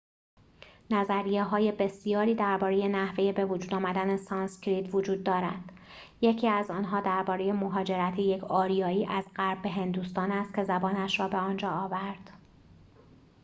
نظریه‌های بسیاری درباره نحوه بوجود آمدن سانسکریت وجود دارد یکی از آنها درباره مهاجرت یک آریایی از غرب به هندوستان است که زبانش را به آنجا آورد